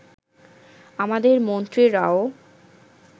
আমাদের মন্ত্রীরাও